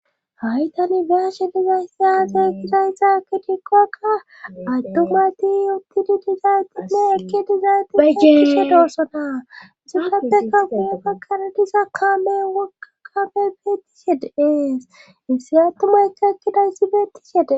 haytan beyashe dizaysate kidaysa kitikkoakka attomati uttidi dizaytime ekki dizayt bajjiisshe doossona sulapte ka fuye bakana diza kaame wokka kame beettishede ees issi attumaykka ekkidayssi beettishede